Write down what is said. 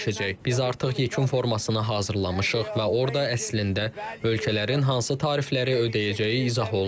Biz artıq yekun formasını hazırlamışıq və orda əslində ölkələrin hansı tarifləri ödəyəcəyi izah olunacaq.